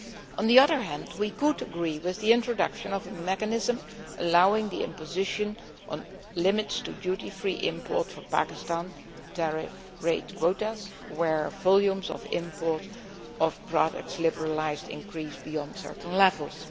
On the other hand, we could agree to the introduction of a mechanism allowing the imposition of limits to duty free imports for Pakistan tariff rate quotas where volumes of imports of products liberalised increase beyond certain levels.